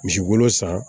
Misi wolo san